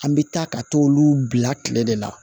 An bɛ taa ka t'olu bila kile de la